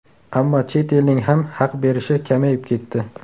Ammo chet elning ham haq berishi kamayib ketdi.